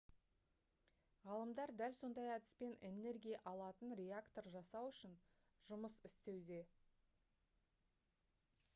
ғалымдар дәл сондай әдіспен энергия алатын реактор жасау үшін жұмыс істеуде